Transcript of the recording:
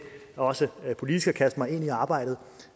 også politisk at kaste mig ind i arbejdet